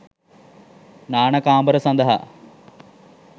නාන කාමර සඳහා